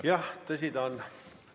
Jah, tõsi ta on.